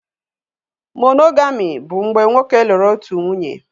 Monogami bụ mgbe nwoke lụrụ otu nwunye